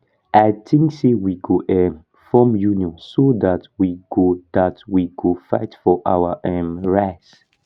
i think say we go um form union so dat we go dat we go fight for our um righs